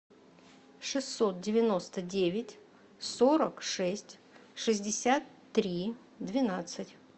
шестьсот девяносто девять сорок шесть шестьдесят три двенадцать